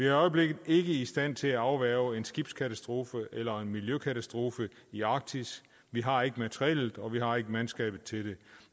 i øjeblikket ikke i stand til at afværge en skibskatastrofe eller en miljøkatastrofe i arktis vi har ikke materiellet og vi har ikke mandskabet til det